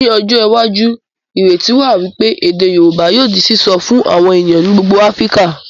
Ní ọjọ́ iwájú, ìrètí wà wípé èdè Yorùbá yóò di sìsọ fún àwọn ènìyàn ní gbogbo Áfíríkà